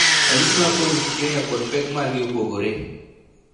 Ranyisi mag cold urticaria kod pek mar gi opogore